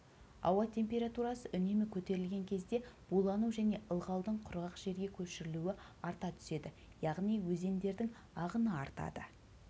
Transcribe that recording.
ауа температурасы үнемі көтерілген кезде булану және ылғалдың құрғақ жерге көшірілуі арта түседі яғни өзендердің ағыны артады